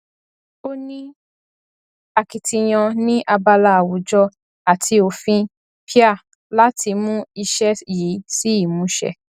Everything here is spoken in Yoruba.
ó ní akitiyan ní abala àwùjọ àti òfin pia láti mú iṣẹ yìí sí ìmúṣẹ